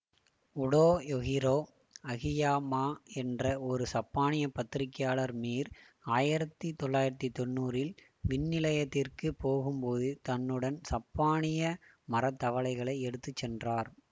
Toyohiro Akiyama என்ற ஒரு சப்பானிய பத்திரிகையாளர் மீர் ஆயிரத்தி தொள்ளாயிரத்தி தொன்னூறில் விண்நிலையத்திற்கு போகும்போது தன்னுடன் சப்பானிய மரத்தவளைகளை எடுத்து சென்றார்